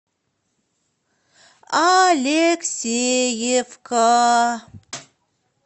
алексеевка